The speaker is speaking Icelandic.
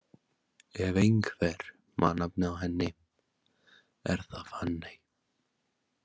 Ef einhver man nafnið á henni, er það Fanney.